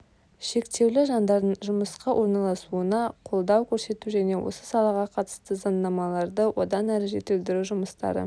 шектеулі жандардың жұмысқа орналасуына қолдау көрсету және осы салаға қатысты заңнамаларды одан әрі жетілдіру жұмыстары